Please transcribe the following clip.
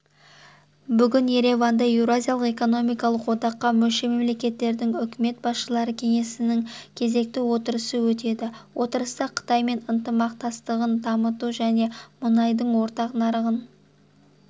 бүгін ереванда еуразиялық экономикалық одаққа мүше мемлекеттердің үкімет басшылары кеңесінің кезекті отырысы өтеді отырыста қытаймен ынтымақтастығын дамыту және мұнайдың ортақ нарығын